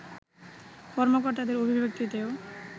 কর্মকর্তাদের অভিব্যক্তিতেও